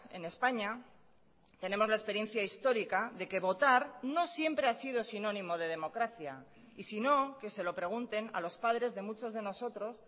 en españa tenemos la experiencia histórica de que votar no siempre ha sido sinónimo de democracia y sino que se lo pregunten a los padres de muchos de nosotros